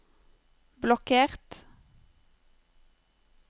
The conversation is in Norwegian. blokkert